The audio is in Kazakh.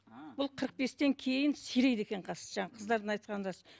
бұл қырық бестен кейін сирейді екен қас жаңағы қыздардың айтқаны рас